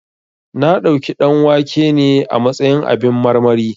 Na ɗauki ɗanwake ne a matsayin abin marmari